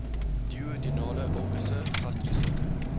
duodenale ulkusse gastriese